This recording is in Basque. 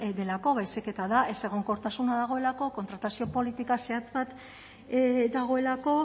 delako baizik eta da ezegonkortasuna dagoelako kontratazio politika zehatz bat dagoelako